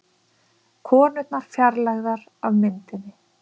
Konurnar fjarlægðar af myndinni